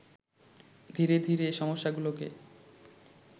ধীরে ধীরে সমস্যাগুলোকে